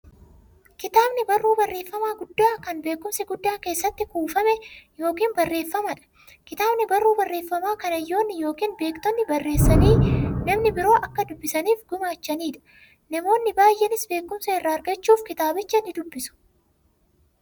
Kitaabni barruu barreeffamaa guddaa, kan beekumsi guddaan keessatti kuufame yookiin barreefameedha. Kitaabni barruu barreeffamaa, kan hayyoonni yookiin beektonni barreessanii, namni biroo akka dubbisaniif gumaachaniidha. Namoonni baay'eenis beekumsa irraa argachuuf kitaabicha nidubbisu.